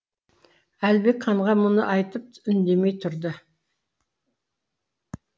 әлібек ханға мұны айтып үндемей тұрды